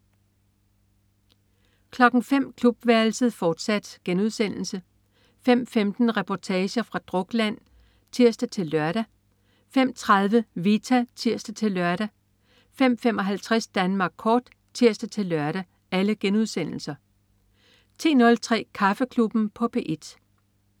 05.00 Klubværelset, fortsat* 05.15 Reportager fra Drukland* (tirs-lør) 05.30 Vita* (tirs-lør) 05.55 Danmark kort* (tirs-lør) 10.03 Kaffeklubben på P1